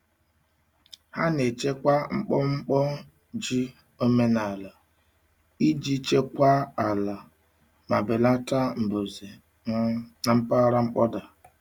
Ha na-echekwa mkpọmkpọ ji omenaala iji chekwaa ala ma belata mbuze um na mpaghara mkpọda.